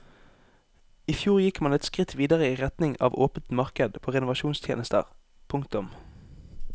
I fjor gikk man et skritt videre i retning av åpent marked på renovasjonstjenester. punktum